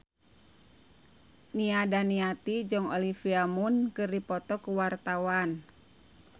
Nia Daniati jeung Olivia Munn keur dipoto ku wartawan